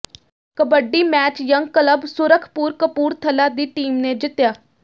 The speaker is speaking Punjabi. kabaddi match young club Surkhpur Kapurthala ਦੀ ਟੀਮ ਨੇ ਜਿੱਤਿਆ